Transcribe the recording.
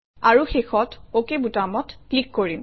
আৰু শেষত অক বুটামত ক্লিক কৰিম